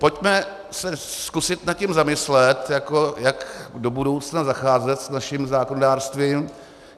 Pojďme se zkusit nad tím zamyslet, jak do budoucna zacházet s naším zákonodárstvím.